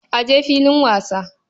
A je filin wasa.